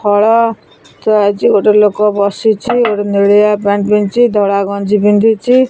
ଫଳ ଥୁଆହେଇଚି ଗୋଟେ ଲୋକ ବସିଚି ଗୋଟେ ନେଳିଆ ପ୍ୟାଣ୍ଟ ପିନ୍ଧିଚି ଧଳା ଗଞ୍ଜୀ ପିନ୍ଧିଚି।